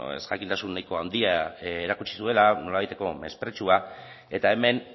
ezjakintasun nahiko handia erakutsi duela nolabaiteko mespretxua eta hemen